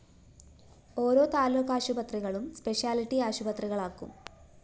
ഓരോ താലൂക്കാശുപത്രികളും സ്പെഷ്യൽറ്റി ആശുപത്രികളാക്കും